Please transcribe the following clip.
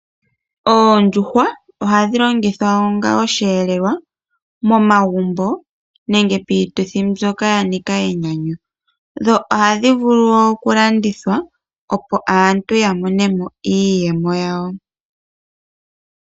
Oondjuhwa oha dhi longithwa onga osheelelwa momagumbo nenge piituthi mbyoka ya nika enyanyu dho ohadhi vulu wo okulandithwa opo aantu ya monemo iiyemo yawo.